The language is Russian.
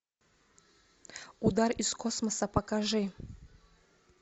удар из космоса покажи